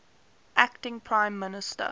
acting prime minister